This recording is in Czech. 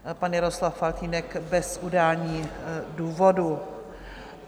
Pan Jaroslav Faltýnek bez udání důvodu.